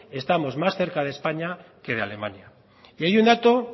estamos más cerca de españa que de alemania y hay un dato